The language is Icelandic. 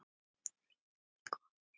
Nei, guð minn góður.